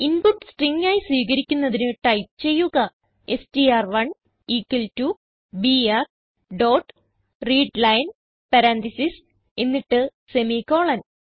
input string ആയി സ്വീകരിക്കുന്നതിന് type ചെയ്യുക എസ്ടിആർ1 equal to BR dot readline parentheses എന്നിട്ട് സെമിക്കോളൻ